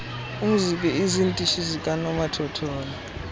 umzk izitishi zikanomathotholo